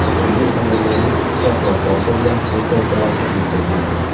Yigit ayollarga pichoq va bolta bilan ko‘plab jarohat yetkazgan.